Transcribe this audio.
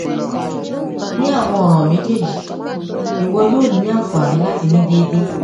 ni awọn ọran mejeeji iwọ yoo ni anfani lati ni deede